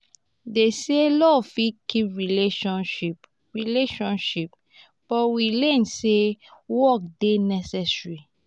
dem say love fit keep relationship relationship but we learn sey work dey necessary.